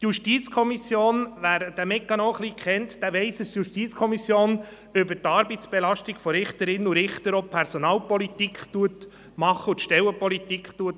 Wer sich hier etwas auskennt weiss, dass die JuKo über die Arbeitsbelastung von Richterinnen und Richtern auch Personalpolitik und Stellenpolitik betreibt.